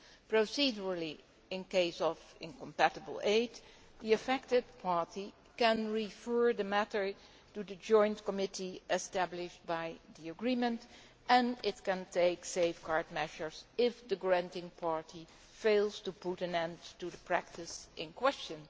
Procedurally, in case of incompatible aid, the affected party can refer the matter to the joint committee established by the agreement and it can take safeguard measures if the granting party fails to put an end to the practice in question.